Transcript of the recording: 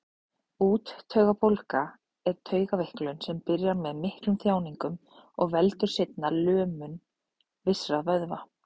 Úttaugabólga er taugaveiklun sem byrjar með miklum þjáningum og veldur seinna lömun vissra vöðva.